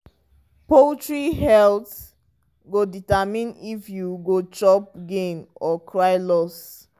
poultry health go determine if you go chop gain or cry loss.